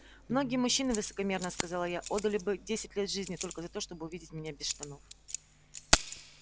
многие мужчины высокомерно сказала я отдали бы десять лет жизни только за то чтобы увидеть меня без штанов